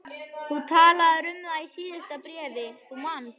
Þú talaðir um það í síðasta bréfi, þú manst.